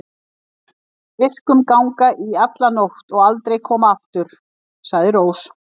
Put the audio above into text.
Viskum ganga í alla nótt og aldrei koma aftur, sagði Rós.